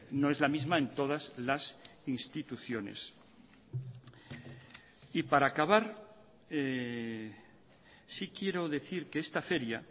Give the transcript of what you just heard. no es la misma en todas las instituciones y para acabar sí quiero decir que esta feria